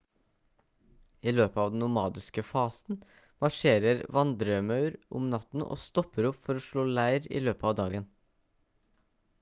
i løpet av den nomadiske fasen marsjerer vandremaur om natten og stopper opp for å slå leir i løpet av dagen